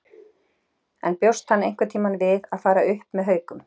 En bjóst hann einhverntímann við að fara upp með Haukum?